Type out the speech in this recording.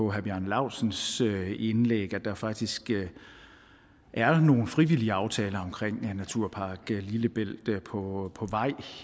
og herre bjarne laustsens indlæg at der faktisk er nogle frivillige aftaler omkring naturpark lillebælt der er på på vej